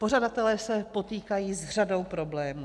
Pořadatelé se potýkají s řadou problémů.